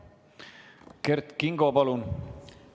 Kert Kingo, palun!